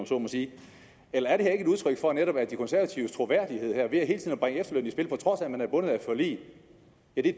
så må sige er det her ikke udtryk for at netop de konservatives troværdighed ved hele tiden at at man er bundet af et forlig